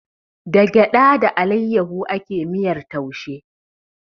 Da gyaɗa da alayyahu ake miyar taushe